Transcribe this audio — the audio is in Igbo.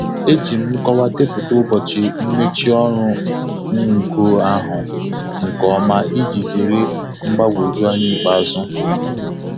E ji m nkọwa depụta ụbọchị mmechi ọrụ ngo ahụ nke ọma iji zere mgbagwoju anya ikpeazụ.